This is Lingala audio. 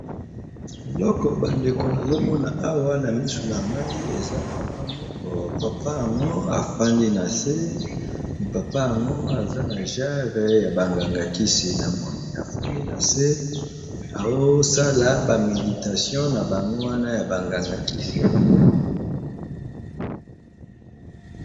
eloko bandeko nazomona awa na misu na ngai eza papa moko papa yango afandi na se me papa yango aza na jere ya bangangakisi na moni afandi na se asala bameditation na bango wana ya bangangakisi